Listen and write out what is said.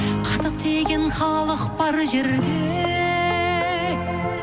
қазақ деген халық бар жерде